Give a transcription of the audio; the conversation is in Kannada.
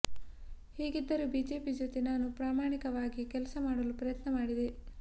ಹೀಗಿದ್ದರೂ ಬಿಜೆಪಿ ಜೊತೆ ನಾನು ಪ್ರಾಮಾಣಿಕವಾಗಿ ಕೆಲಸ ಮಾಡಲು ಪ್ರಯತ್ನ ಮಾಡಿದೆ